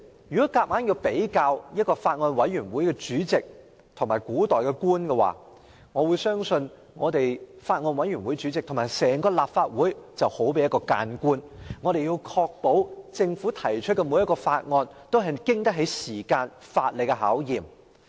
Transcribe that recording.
如果一定要將法案委員會主席與古代官員比較的話，我相信法案委員會主席就好比一名諫官，必須確保政府提交的每項法案均經得起時間和法理考驗。